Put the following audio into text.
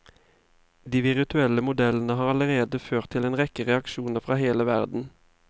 De virtuelle modellene har allerede ført til en rekke reaksjoner fra hele verden.